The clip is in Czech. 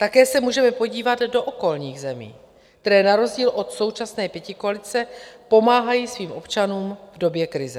Také se můžeme podívat do okolních zemí, které na rozdíl od současné pětikoalice pomáhají svým občanům v době krize.